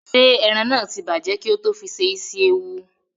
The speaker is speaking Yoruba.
Ṣé ẹran náà tí bàjẹ́ kí ó tó fi se isi ewu?